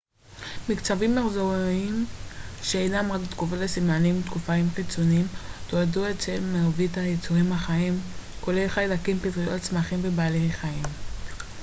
מקצבים מחזוריים שאינם רק תגובות לסימנים תקופתיים חיצוניים תועדו אצל מרבית היצורים החיים כולל חיידקים פטריות צמחים ובעלי חיים